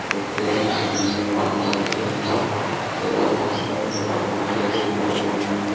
Restaurant अभी नया खुला हुआ है और इसमें बहुत सारी चेयरे भी पड़ी हुई है।